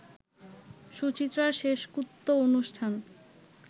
সুচিত্রার শেষকৃত্য অনুষ্ঠান